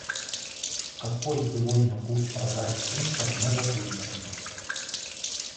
какой сегодня курс продажи фунта в новокузнецке